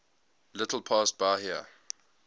little past bahia